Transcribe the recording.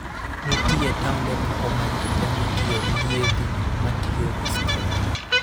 Nitie taonde moko ma ji temo tiyo gi yiedhi matiyo gi stima.